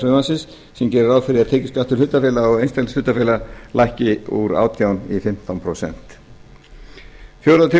frumvarpsins sem gerir ráð fyrir að tekjuskattur hlutafélaga og einkahlutafélaga lækki úr átján prósent í fimmtán prósent fjórða